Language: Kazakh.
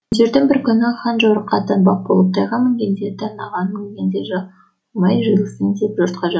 күндердің бір күні хан жорыққа аттанбақ болып тайға мінген де танаға мінген де қалмай жиылсын деп жұртқа жар